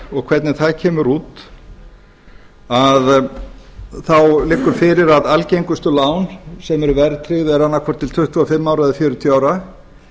og hvernig það kemur út liggur fyrir að algengustu lán sem eru verðtryggð eru annað hvort til tuttugu og fimm ára eða fjörutíu ára